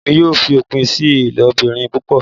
Emi yoo fi opin si ilobirin pupọ